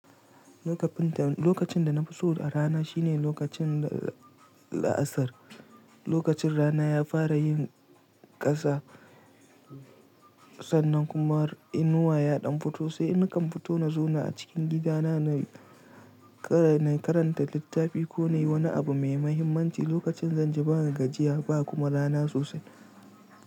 Lokacin da na fi so a rana shine lokacin la’asar. Lokacin rana ya fara yin ƙasa sannan kuma inuwa ya ɗan fito, sai nakan fito na zauna a cikin gidana na karanta littafi ko na yi wani abu mai mahimmanci lokacin zanji bana gajiya ba kuma rana sosai.